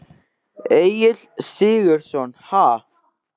Egill Sigurðsson: Ha?